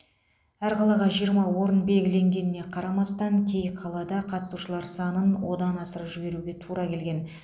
әр қалаға жиырма орын белгіленгеніне қарамастан кей қалада қатысушылар санын одан асырып жіберуге тура келген